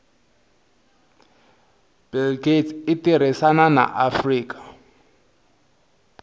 bill gates itirisana na afrika